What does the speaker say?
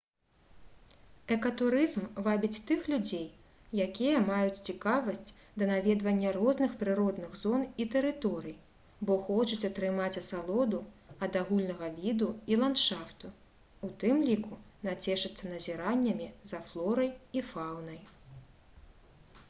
экатурызм вабіць тых людзей якія маюць цікавасць да наведвання розных прыродных зон і тэрыторый бо хочуць атрымаць асалоду ад агульнага віду і ландшафту у тым ліку нацешыцца назіраннямі за флорай і фаўнай